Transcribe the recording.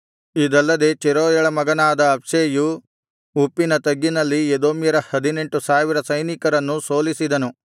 ಇದಲ್ಲದೆ ಚೆರೂಯಳ ಮಗನಾದ ಅಬ್ಷೈಯು ಉಪ್ಪಿನ ತಗ್ಗಿನಲ್ಲಿ ಎದೋಮ್ಯರ ಹದಿನೆಂಟು ಸಾವಿರ ಸೈನಿಕರನ್ನು ಸೋಲಿಸಿದನು